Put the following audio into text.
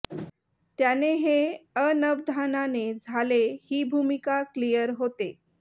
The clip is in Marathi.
त्याने हे अनवधानाने झाले ही भूमिका क्लिअर होते